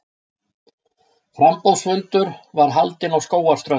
Framboðsfundur var haldinn á Skógarströnd.